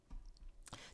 TV 2